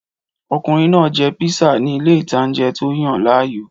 Ọkùnrin náà jẹ píísà ni ilé ìtanjẹ́ tó yàn láàyò